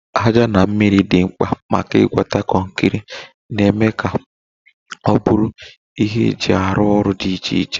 Aja na mmiri dị mkpa maka ịgwakọta kọnkịrị, na-eme ka ọ bụrụ ihe eji arụ ọrụ dị iche iche.